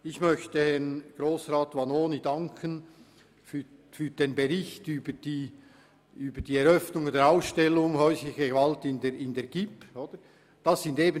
Ich möchte Grossrat Vanoni für den Bericht über die Eröffnung der Ausstellung zur häuslichen Gewalt an der gibb danken.